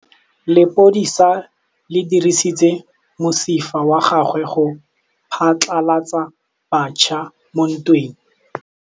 Lepodisa le dirisitse mosifa wa gagwe go phatlalatsa batšha mo ntweng.